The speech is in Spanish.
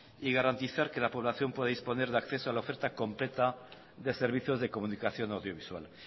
y garantizar que la población pueda disponer de acceso a la oferta completa de servicios de comunicación audiovisual